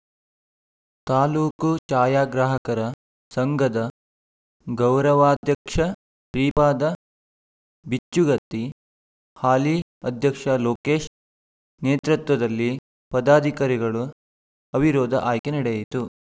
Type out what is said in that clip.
ತಾಲೂಕು ಛಾಯಾಗ್ರಾಹಕರ ಸಂಘದ ಗೌರವಾಧ್ಯಕ್ಷ ಶ್ರೀ ಪಾದ ಬಿಚ್ಚುಗತ್ತಿ ಹಾಲಿ ಅಧ್ಯಕ್ಷ ಲೋಕೇಶ್‌ ನೇತೃತ್ವದಲ್ಲಿ ಪದಾಧಿಕಾರಿಗಳು ಅವಿರೋಧ ಆಯ್ಕೆ ನಡೆಯಿತು